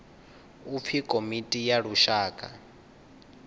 u pfi komiti ya lushaka